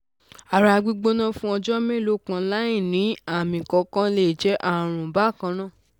ara gbigbona fun ọjọ́ mélòó kan láìní àmì kankan le je àrùn bakanna